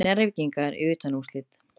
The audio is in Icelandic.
Njarðvíkingar í undanúrslit